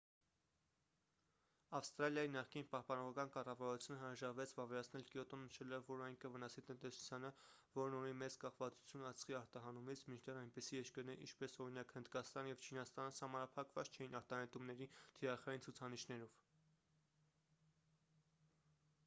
ավստրալիայի նախկին պահպանողական կառավարությունը հրաժարվեց վավերացնել կյոտոն նշելով որ այն կվնասի տնտեսությանը որն ունի մեծ կախվածություն ածխի արտահանումից մինչդեռ այնպիսի երկրներ ինչպես օրինակ հնդկաստանը և չինաստանը սահմանափակված չէին արտանետումների թիրախային ցուցանիշներով